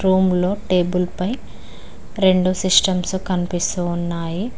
Room లో table పై రెండు సిస్టమ్సు కనిపిస్తు ఉన్నాయి.